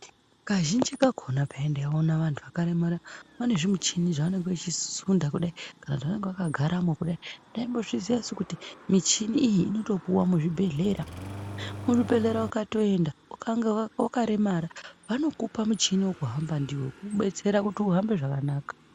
Kazhinji kakona peya ndaiona vandu vakaremara vane zvimuchini zvavanenge vechisunda kudai kana zvavanenge vakagara kudai, ndaimbozviziya su kuti muchini iyi inotopuwa muzvibhedhlera. Muzvibhedhlera ukatoenda ukanga wakaremara, vanokupa muchini wekuhamba ndiwo kukudetsera kuti uhambe zvakanaka.